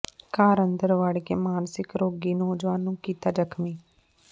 ਘਰ ਅੰਦਰ ਵੜ੍ਹ ਕੇ ਮਾਨਸਿਕ ਰੋਗੀ ਨੌਜਵਾਨ ਨੂੰ ਕੀਤਾ ਜ਼ਖ਼ਮੀ